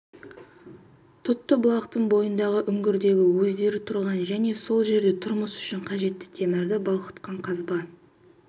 тұтты бұлақтың бойындағы үңгірде өздері тұрған және сол жерде тұрмысы үшін қажетті темірді балқытқан қазба